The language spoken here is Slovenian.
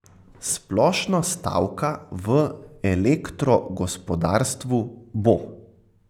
Splošno stavka v elektrogospodarstvu bo.